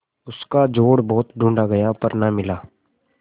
उसका जोड़ बहुत ढूँढ़ा गया पर न मिला